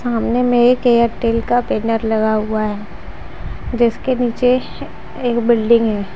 सामने में एक एयरटेल का बैनर लगा हुआ है जिसके नीचे एक बिल्डिंग है।